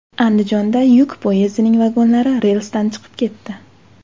Andijonda yuk poyezdining vagonlari relsdan chiqib ketdi .